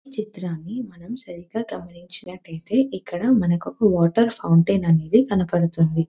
ఈ చిత్రాన్ని మనం సరిగ్గా గమనించినట్లయితే ఇక్కడ మనకొక వాటర్ ఫౌంటెన్ అనేది కనపడుతుంది.